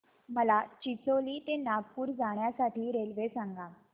मला चिचोली ते नागपूर जाण्या साठी रेल्वे सांगा